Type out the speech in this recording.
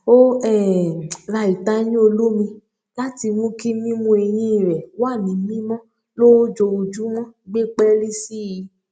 ó um ra ìtayín olómi láti mú kí mímú eyín rẹ wà ní mímọ lójoojúmọ gbé pẹẹlí sí i